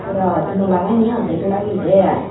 pura naw lagai ni oddek lageyedey i.